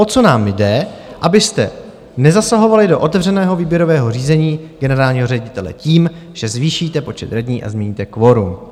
O co nám jde, abyste nezasahovali do otevřeného výběrového řízení generálního ředitele tím, že zvýšíte počet radních a změníte kvorum.